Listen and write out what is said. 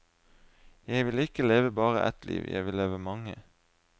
Jeg ville ikke leve bare ett liv, jeg ville leve mange.